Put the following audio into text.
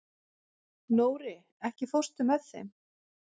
Nóri, ekki fórstu með þeim?